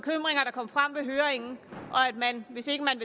kom frem ved høringen og at man hvis ikke man